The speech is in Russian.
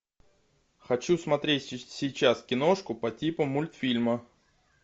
хочу смотреть сейчас киношку по типу мультфильма